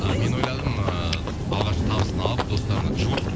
мен ойладым ыыы алғашқы табысын алып достарына жуып